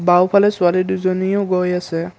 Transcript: বাওঁফালে ছোৱালী দুজনীও গৈ আছে।